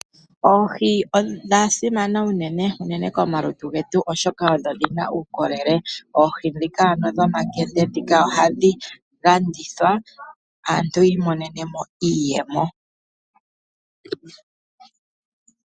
Oohi odha simana unene, unene komalutu getu oshoka odho dhina uukolele. Oohi ndhika ano dhomakende ndhika ohadhi landithwa, aantu yiimonenemo iiyemo.